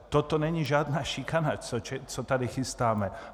Toto není žádná šikana, co tady chystáme.